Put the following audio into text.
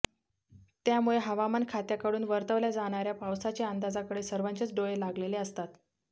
त्यामुळे हवामान खात्याकडून वर्तवल्या जाणाऱया पावसाच्या अंदाजाकडे सर्वांचेच डोळे लागलेले असतात